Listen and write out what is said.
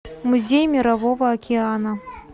музей мирового океана